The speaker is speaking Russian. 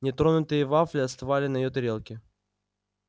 нетронутые вафли остывали на её тарелке